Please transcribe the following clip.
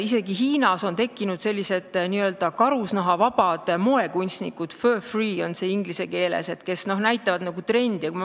Isegi Hiinas on tekkinud n-ö karusnahavabad moekunstnikud – fur free on see inglise keeles –, kes näitavad trendi.